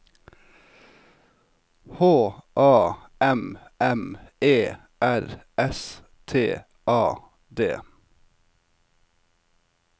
H A M M E R S T A D